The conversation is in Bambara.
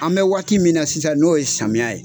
An bɛ waati min na sisan n'o ye samiya ye